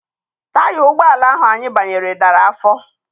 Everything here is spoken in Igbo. Taya ụgbọala ahụ anyị banyere dara afọ.